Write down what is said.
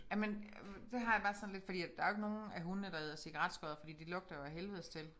Jamen der har jeg bare sådan lidt fordi at der jo ikke nogen af hundene der æder cigaretskodder fordi de lugter jo af helvedes til